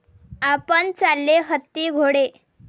आपण चाले हत्ती घोडे